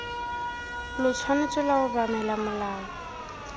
lo tshwanetse lwa obamela molao